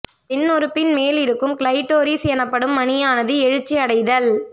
பெண் உறுப்பின் மேல் இருக்கும் கிளைட்டோரிஸ் எனப்படும் மணியானது எழுச்சி அடைதல்